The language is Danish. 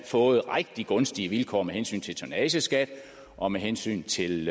fået rigtig gunstige vilkår med hensyn til tonnageskat og med hensyn til